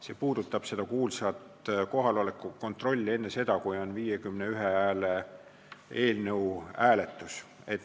See puudutab seda kuulsat kohaloleku kontrolli enne seda, kui on 51 häält nõudva eelnõu hääletus.